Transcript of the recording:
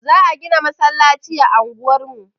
Za a gina masallaci a unguwar mu.